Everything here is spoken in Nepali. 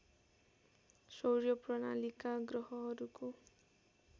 सौर्य प्रणालीका ग्रहहरूको